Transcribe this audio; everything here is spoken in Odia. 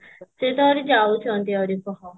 ସେ ତ ଆହୁରି ଯାଉଛନ୍ତି ଆହୁରି କହ